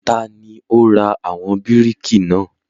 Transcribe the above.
Tani ó ra àwọn bíríkì náà?